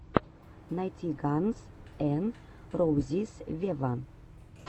найти ганз эн роузиз вево